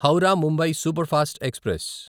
Howrah Mumbai superfast express